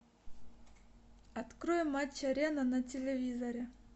открой матч арена на телевизоре